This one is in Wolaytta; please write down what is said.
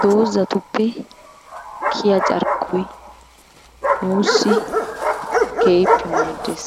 Doozatuppe kiyay carkkoy nuussi keehippe maaddees,